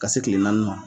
Ka se kile naani ma